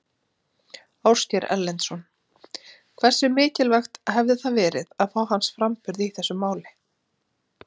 Ásgeir Erlendsson: Hversu mikilvægt hefði það verið að fá hans framburð í þessu máli?